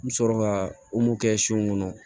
N bɛ sɔrɔ ka kɛ son kɔnɔ